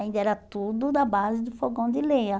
Ainda era tudo da base do fogão de lenha.